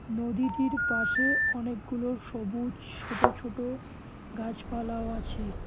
নদীটির পাশে অনেকগুলো সবুজ ছোট ছোট গাছপালাও আছে।